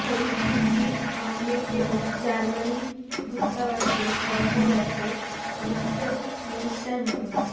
ফরিদ উদ্দিন আহমেদ এবং জার্মানি দূতাবাসে কর্মরত পলিটিক্যাল মিনিস্টার মো